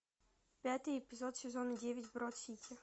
пятый эпизод сезона девять брод сити